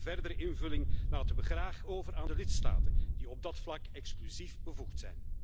Maar de verdere invulling laten we graag over aan de lidstaten, die op dat vlak exclusief bevoegd zijn.